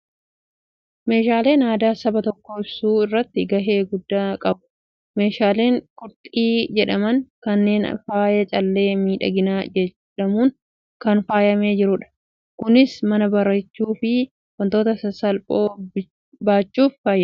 Meeshaaleen aadaa saba tokkoo ibsuu irratti gahee guddaani qabu. Meeshaaleen qorxii jedhaman kunneen faaya callee miidhaginaa jedhamuun kan faayamee jirudha. Kunis mana bareechuu fi wantoota sasalphoo baachuuf faayidaa guddaa kan qabudha.